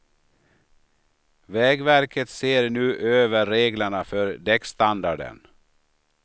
Vägverket ser nu över reglerna för däckstandarden.